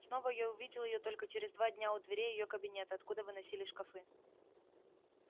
снова я увидел её только через два дня у дверей её кабинета откуда выносили шкафы